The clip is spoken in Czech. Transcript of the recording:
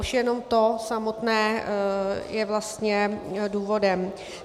Už jenom to samotné je vlastně důvodem.